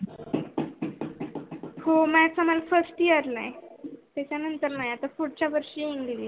हो math आम्हाला First year ला आहे त्याच्या नंतर नाही आता पुडच्या वर्षी english